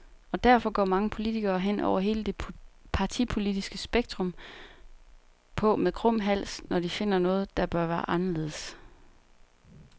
Og derfor går mange politikere, hen over hele det partipolitiske spektrum, på med krum hals, når de finder noget, der bør være anderledes.